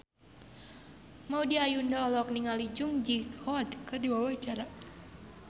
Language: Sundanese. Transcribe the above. Maudy Ayunda olohok ningali Jung Ji Hoon keur diwawancara